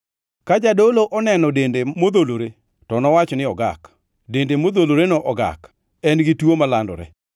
Ka jadolo oneno dende modholore, to nowach ni ogak. Dende modholoreno ogak; en gi tuo malandore.